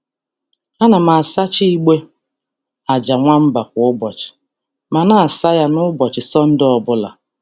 A na m asacha igbe aja nwamba kwa ụbọchị, ma na-asa ya ya n’ụbọchị Sọnde obula.